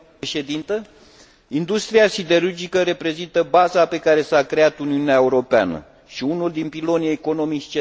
Industria siderurgică reprezintă baza pe care s a creat Uniunea Europeană și unul dintre pilonii economici centrali ai acesteia.